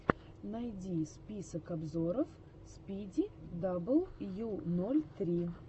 найди список обзоров спиди дабл ю ноль три